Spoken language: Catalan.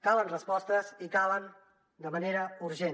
calen respostes i calen de manera urgent